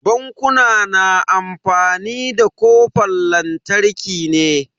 Bankuna na amfani da kofan lantarki ne.